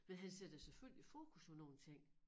Men han sætter selvfølgelig fokus på nogle ting